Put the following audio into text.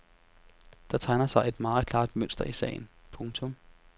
Der tegner sig et meget klart mønster i sagen. punktum